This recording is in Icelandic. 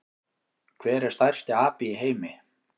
Hver er stærsti api í heimi?